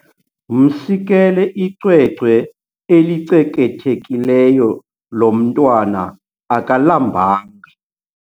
Msikele icwecwe elicekethekileyo lo mntwana akalambanga.